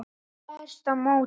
Hún berst á móti.